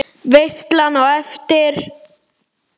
Veislan á eftir?